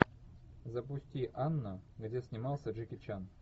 запусти анна где снимался джеки чан